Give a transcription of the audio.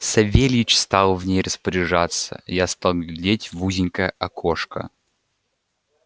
савельич стал в ней распоряжаться я стал глядеть в узенькое окошко